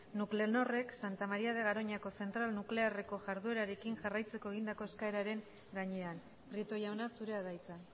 nuclenorrek santa maría de garoñako zentral nuklearreko jarduerarekin jarraitzeko egindako eskaeraren gainean prieto jauna zurea da hitza